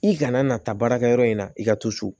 I kana na taa baarakɛ yɔrɔ in na i ka to so